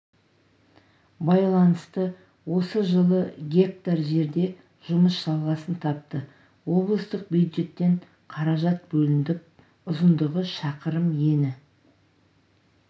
байланысты осы жылы га жерде жұмыс жалғасын тапты облыстық бюджеттен қаражат бөлініп ұзындығы шақырым ені